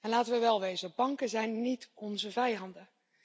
Laten we wel wezen, banken zijn niet onze vijanden.